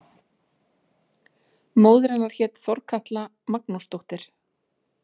Móðir hennar hét Þorkatla Magnúsdóttir.